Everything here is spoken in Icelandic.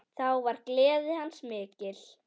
Þá var gleði hans mikil.